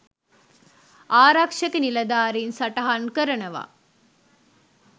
ආරක්ෂක නිලධාරීන් සටහන් කරනවා..